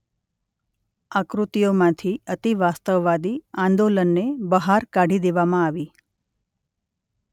આકૃતિઓમાંથી અતિવાસ્તવવાદી આંદોલનને બહાર કાઢી દેવામાં આવી.